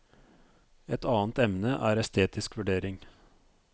Et annet emne er estetisk vurdering.